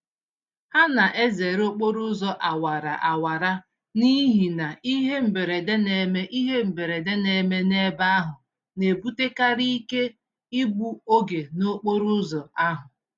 Ha na-ezere okporo ụzọ awara awara n'ihi na ihe mberede neme ihe mberede neme n'ebe ahụ na-ebutekarị ike igbu oge n'okporo ụzọ ahụ